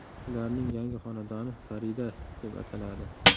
Ularning yangi xonadoni Farida deb ataladi.